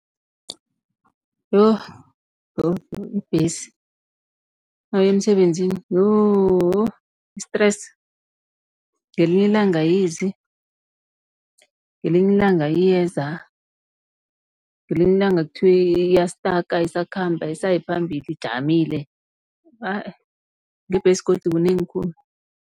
Yo! yo! yo! ibhesi nawuya emsebenzini yooh i-stress. Ngelinye ilanga ayizi, ngelinye ilanga iyeza, ngelinye ilanga kuthiwa iyastaka ayisakhambi ayisayi phambili ijamile, hah eh ngebhesi godu kunengi khulu.